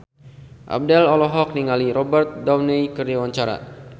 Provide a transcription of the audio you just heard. Abdel olohok ningali Robert Downey keur diwawancara